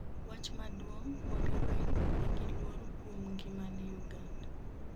wach maduong' Bobi Wine nigiluor kuom ngimane, Uganda